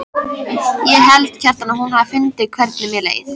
Ég held, Kjartan, að hún hafi fundið hvernig mér leið.